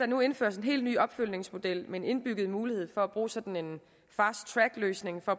nu indføres en helt ny opfølgningsmodel med en indbygget mulighed for at kunne bruge sådan en fast track løsning for